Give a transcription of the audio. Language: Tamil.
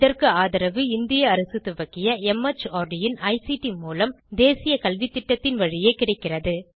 இதற்கு ஆதரவு இந்திய அரசு துவக்கிய மார்ட் இன் ஐசிடி மூலம் தேசிய கல்வித்திட்டத்தின் வழியே கிடைக்கிறது